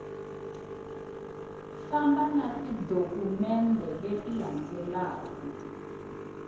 famba na tidokumende leti landzaku